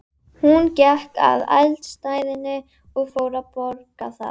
En ætlar hann sér marga nýja útlendinga?